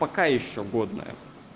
пока ещё годная